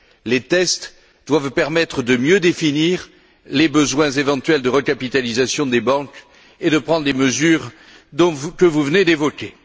Les tests doivent permettre de mieux définir les besoins éventuels de recapitalisation des banques et de prendre les mesures que vous venez d'évoquer.